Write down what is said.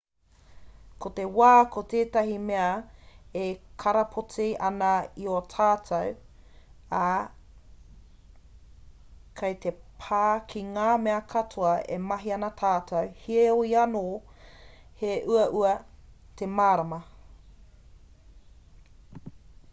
ko te wā ko tētahi mea e karapoti ana i a tātou ā kei te pā ki ngā mea katoa e mahi ana tātou heoi anō he uaua te mārama